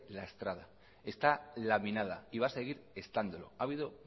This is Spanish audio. lastrada está laminada y va a seguir estándolo ha habido